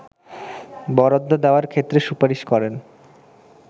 বরাদ্দ দেওয়ার ক্ষেত্রে সুপারিশ করেন